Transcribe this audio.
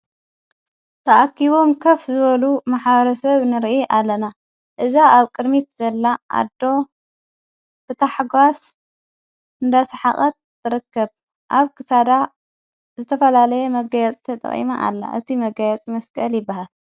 ተኣኪቦም ከፍ ዝበሉ መሓዋረ ሰብ ንርኢ ኣለና እዛ ኣብ ቅድሚት ዘላ ኣዶ ብታሕጓስ እንዳስሓቐት ረከብ ኣብ ክሳዳ ዘተፈላለየ መገያጽ ተጥቕመ ኣላ እቲ መጋያጽ መስቀል ይበሃል።